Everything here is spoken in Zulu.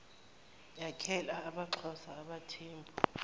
yakhele amaxhosa abathembu